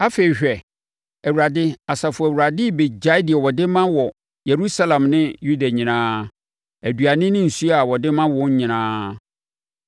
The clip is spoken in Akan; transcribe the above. Afei hwɛ, Awurade, Asafo Awurade, rebɛgyae deɛ ɔde ma wɔ Yerusalem ne Yuda nyinaa: aduane ne nsuo a ɔde ma wɔn nyinaa.